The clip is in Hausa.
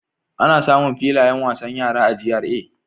Ana samun filayen wasan yara a GRA.